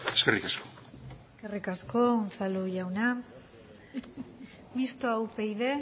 eskerrik asko eskerrik asko unzalu jauna mistoa upyd